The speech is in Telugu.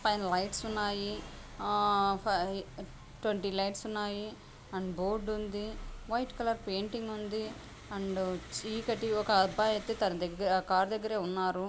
పైన లైట్స్ ఉన్నాయి ట్వెంటీ లైట్స్ ఉన్నాయి అండ్ బోర్డు ఉంది వైట్ కలర్ పెయింటింగ్ ఉంది అండు చీకటి ఒక అబ్బాయి అయితే తన దగ్గర ఆ కార్ దగ్గరే ఉన్నారు.